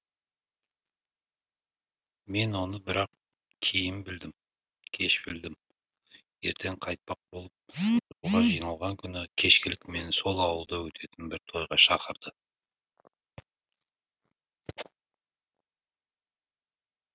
мен оны бірақ кейін білдім кеш білдім ертең қайтпақ болып жолға жиналған күні кешкілік мені сол ауылда өтетін бір тойға шақырды